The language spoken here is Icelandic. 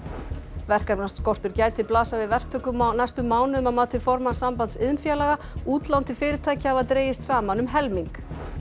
verkefnaskortur gæti blasað við verktökum á næstu mánuðum að mati formanns Sambands iðnfélaga útlán til fyrirtækja hafa dregist saman um helming